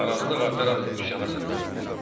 Narazılıq artaraq üsyana səbəb oldu.